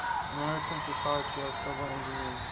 american society of civil engineers